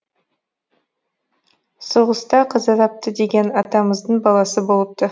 соғыста қаза тапты деген атамыздың баласы болыпты